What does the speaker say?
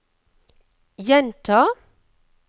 gjenta